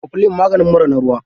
Kwaflin maganin mura na ruwa.